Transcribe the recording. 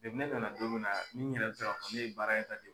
Depi ne nana don min na n yɛrɛ bɛ se k'a fɔ ne ye baara in